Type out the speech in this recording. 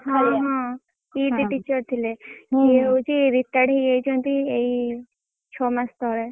ହଁ ହଁ PT teacher ଥିଲେ ସେ ହଉଛି retired ହେଇଯାଇଛନ୍ତି ଏଇ ଛଅ ମାସ ତଳେ।